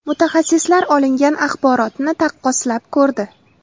Mutaxassislar olingan axborotni taqqoslab ko‘rdi.